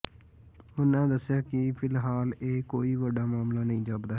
ਉਨ੍ਹਾਂ ਦੱਸਿਆ ਕਿ ਫਿਲਹਾਲ ਇਹ ਕੋਈ ਵੱਡਾ ਮਾਮਲਾ ਨਹੀਂ ਜਾਪਦਾ ਹੈ